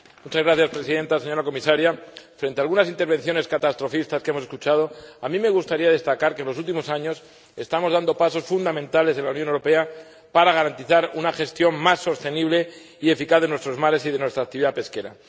Señora Presidenta, señora Comisaria, frente a algunas intervenciones catastrofistas que hemos escuchado, a mí me gustaría destacar que en los últimos años estamos dando pasos fundamentales en la Unión Europea para garantizar una gestión más sostenible y eficaz de nuestros mares y de nuestra actividad pesquera.